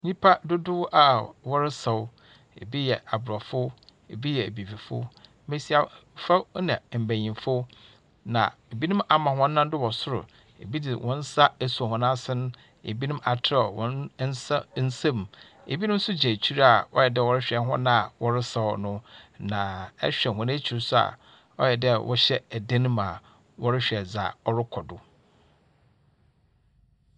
Nyimpa dodow a wɔresaw, bi yɛ Aborɔfo, bi yɛ Ebibifo, mbasiafo na mbanyin. Na binom ama hɔn nsa do wɔ sor, bi dze hɔn nsa esuo hɔn asen, binom atserɛw hɔn nsa nsamu. Binom so gyina ekyir a wɔyɛ dɛ wɔrohwɛ hɔn a wɔresaw no, na ehwɛ hɔn ekyir nso a ɔyɛ dɛ wɔhyɛ dan mu a wɔrohwɛ dza ɔrokɔ do.